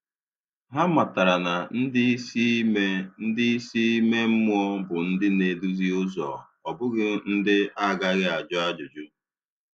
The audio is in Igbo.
Hà mátàrà na ndị isi ime ndị isi ime mmụọ bụ ndị na-edù ụzọ, ọ bụghị ndị a gaghị ajụ ajụjụ.